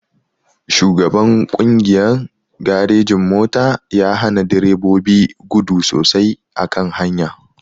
Shugaban kungiyan garejin-mota yahana direbobi gudu sosai a kan hanya.